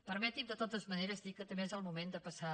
permeti’m de totes maneres dir que també és el moment de passar